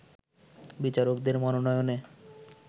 বিচারকদের মনোনয়নে